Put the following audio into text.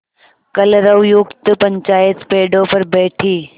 कलरवयुक्त पंचायत पेड़ों पर बैठी